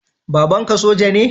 Babanka soja ne?